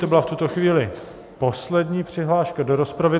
To byla v tuto chvíli poslední přihláška do rozpravy.